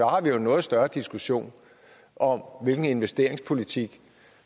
har vi jo en noget større diskussion om hvilken investeringspolitik